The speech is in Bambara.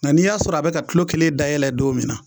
Mɛ n'i y'a sɔrɔ a bɛka tulo kelen dayɛlɛ don min na